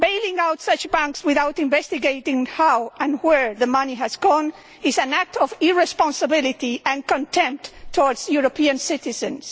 Bailing out such banks without investigating how and where the money has gone is an act of irresponsibility and contempt towards European citizens.